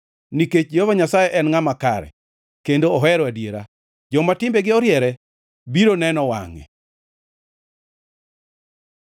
Nikech Jehova Nyasaye en Ngʼama Kare, kendo ohero adiera; joma timbegi oriere biro neno wangʼe.